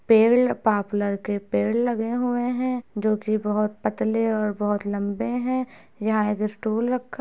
पेड़ पापलर के पेड़ लगे हुए हैं जोकि बहुत पतले और बहुत लम्बे हैं। यहाँ इधर स्टूल रखा --